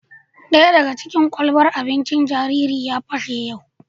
Daya daga cikin ƙwalɓan abincin jariri na ya pashe yau